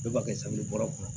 Bɛɛ b'a kɛ kɔnɔ